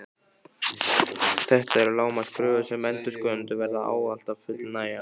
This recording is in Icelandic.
Þetta eru lágmarkskröfur sem endurskoðendur verða ávallt að fullnægja.